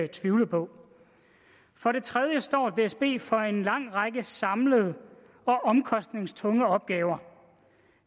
tvivle på for det tredje står dsb for en lang række samlede og omkostningstunge opgaver